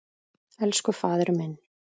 Elsku faðir minn.